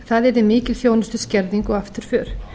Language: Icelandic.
það yrði mikil þjónustuskerðing og afturför